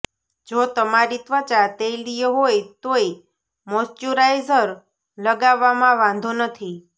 જો તમારી ત્વચા તૈલીય હોય તોય મોઈશ્ચરાઈઝર લગાવવામાં વાંધો નથી